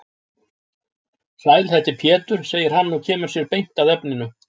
Sæl þetta er Pétur, segir hann og kemur sér beint að efninu.